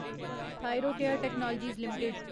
Thyrocare technologies limited